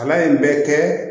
Kalan in bɛ kɛ